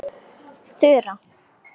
Þura